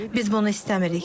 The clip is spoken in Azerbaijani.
Biz bunu istəmirik.